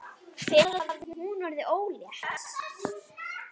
Hvenær hafði hún orðið ólétt?